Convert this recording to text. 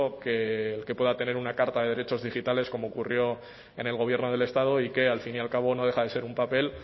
que el que pueda tener una carta de derechos digitales como ocurrió en el gobierno del estado y que al fin y al cabo no deja de ser un papel